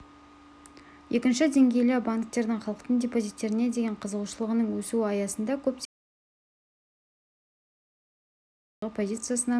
екінші деңгейлі банктердің халықтың депозиттеріне деген қызығушылығының өсуі аясында көптеген қаржы ұйымдары корпоративтік салымдар нарығындағы позициясынан